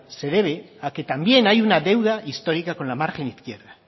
se debe a que también hay una deuda histórica con la margen izquierda